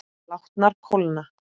Látnar kólna.